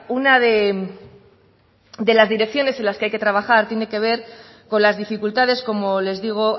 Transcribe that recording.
una de las direcciones en las que hay que trabajar tiene que ver con las dificultades como les digo